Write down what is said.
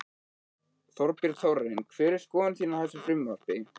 Þorbjörn: Þórarinn hver er skoðun þín á þessu frumvarpi?